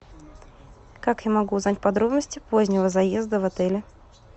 как я могу узнать подробности позднего заезда в отеле